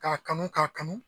K'a kanu k'a kanu.